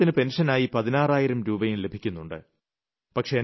അദ്ദേഹത്തിന് പെൻഷനായി 16000 രൂപയും ലഭിക്കുന്നുണ്ട്